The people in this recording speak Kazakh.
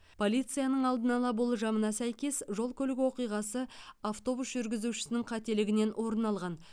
полицияның алдын ала болжамына сәйкес жол көлік оқиғасы автобус жүргізушісінің қателігінен орын алған